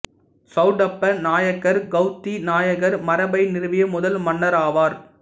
சௌடப்ப நாயக்கார் கெளதி நாயக்கர் மரபை நிறுவிய முதல் மன்னராவார்